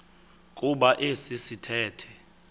kuba esi sithethe